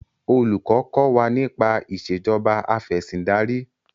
Olùkọ́ kọ́ wa nípa Ìṣèjọba Afẹ̀sìndarí